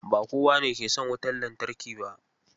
Ba kowane ke son wutar lantarki ba.